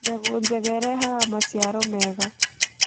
Mbegũ njega ĩrehaga macĩaro mega